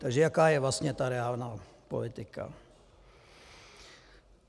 Takže jaká je vlastně ta reálná politika?